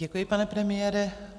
Děkuji, pane premiére.